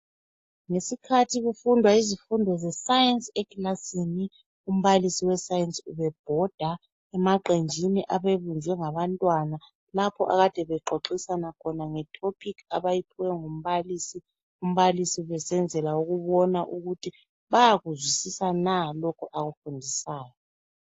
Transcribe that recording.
Ngesikhathi kufundwa izifudo zesayensi ekilasini umbalisi we sayensi ubebhoda emaqenjeni abebunjwe ngabantwana lapho akade bexoxisana khona nge topic abayiphiwe ngumbalisi , umbalisi esenzela ukubona ukuthi bayakuzwisisa na lokhu akufundisayo.